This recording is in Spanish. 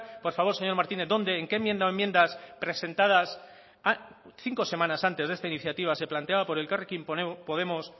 por favor señor martínez dónde en qué enmienda o enmiendas presentadas cinco semanas antes de esta iniciativa se planteaba por elkarrekin podemos